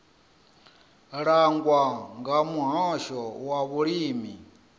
langwa nga muhasho wa vhulimi